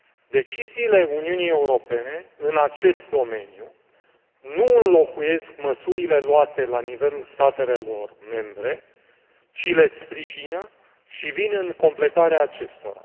Deciziile Uniunii Europene în acest domeniu nu înlocuiesc măsurile luate la nivelul statelor membre, ci le sprijină și vin în completarea acestora.